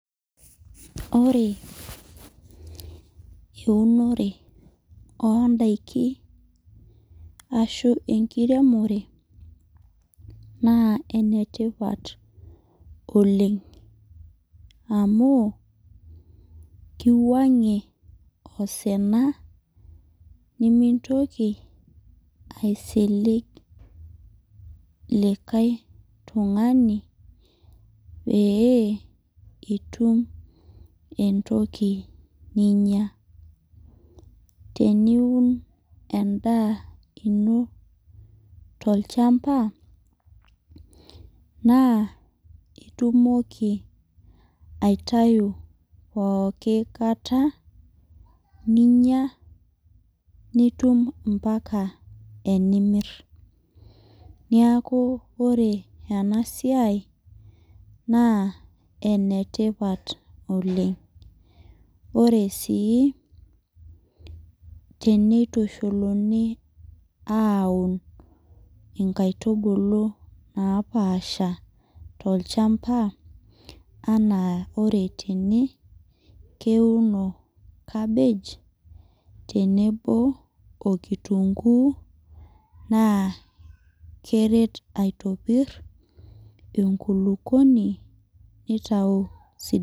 Eunore oondaiki ashuu enkiremore naa enetipat oleng amuu keuwuangie osina nemintoki aisilig likae tungani pee itum entoki ninya. Teniun endaa ino tolchamba naa itumoki aitayu pooki kata ninya nitum ompaka enimir. Niaku ore ena siai naa enetipat oleng. Ore sii teneitushuluni aaun inkaitubuu napaasha tolchamba ana ore tene neuno cabage tenebo okitunguu neret aitopir enkulupuoni